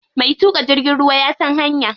Mai tuƙa jirgin ruwa ya san hanya.